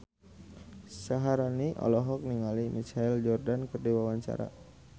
Syaharani olohok ningali Michael Jordan keur diwawancara